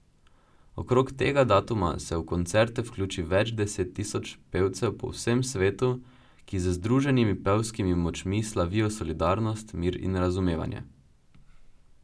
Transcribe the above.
Okrog tega datuma se v koncerte vključi več deset tisoč pevcev po vsem svetu, ki z združenimi pevskimi močmi slavijo solidarnost, mir in razumevanje.